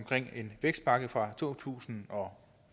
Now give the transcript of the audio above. med vækstpakken fra to tusind og